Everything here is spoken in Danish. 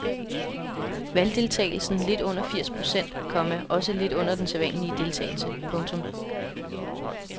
Valgdeltagelsen lidt under firs procent, komma også lidt under den sædvanlige deltagelse. punktum